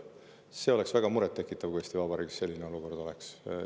See oleks väga murettekitav, kui Eesti Vabariigis selline olukord oleks.